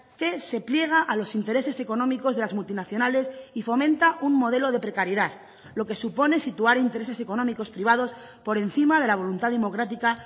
que se pliega a los intereses económicos de las multinacionales y fomenta un modelo de precariedad lo que supone situar intereses económicos privados por encima de la voluntad democrática